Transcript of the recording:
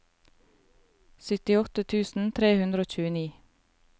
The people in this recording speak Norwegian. syttiåtte tusen tre hundre og tjueni